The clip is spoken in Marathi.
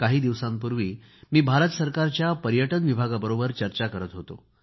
काही दिवसांपूर्वी मी भारत सरकारच्या पर्यटन विभागाबरोबर चर्चा करत होतो